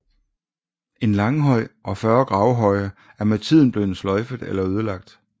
En langhøj og 40 gravhøje er med tiden blevet sløjfet eller ødelagt